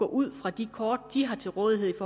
ud fra de kort de har til rådighed